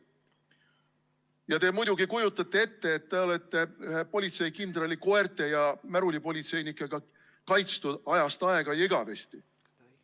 Ja te muidugi kujutate ette, et te olete ühe politseikindrali, koerte ja märulipolitseinikega kaitstud ajast aega ja igavesti.